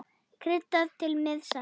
Kryddað til með salti.